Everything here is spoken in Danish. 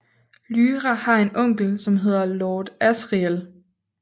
Lyra har en onkel som hedder Lord Asriel